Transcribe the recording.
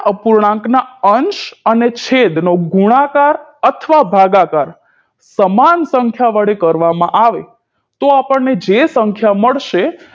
અપૂર્ણાંક ના અંશ અને છેદ નો ગુણાકાર અથવા ભાગાકાર સમાન સંખ્યા વડે કરવામાં આવે તો આપણને જે સંખ્યા મળશે